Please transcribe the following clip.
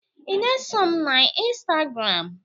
ị na-eso m na ịnstagram?